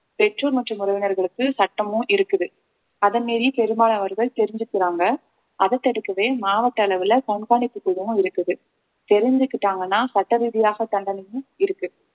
பெற்றோர் மற்றும் உறவினர்களுக்கு சட்டமும் இருக்குது அதை மீறி பெரும்பாலானவர்கள் தெரிஞ்சுக்கிறாங்க அதை தடுக்கவே மாவட்ட அளவுல கண்காணிப்பு குழுவும் இருக்குது தெரிஞ்சுக்கிட்டாங்கன்னா சட்ட ரீதியாக தண்டனையும் இருக்கு